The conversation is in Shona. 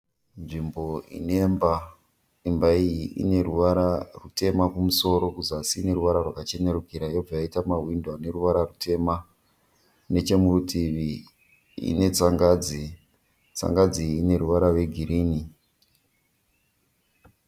Nzvimbo inemba. Imba iyi ine ruvara rwutema kumusoro, kusazi ineruvara rwakachenurikira. Yobva yaita mahwindo ane ruvara rwutema. Nechemurutivi ine tsanganzi, tsanganzi iyi ine ruvara rwegirinhi.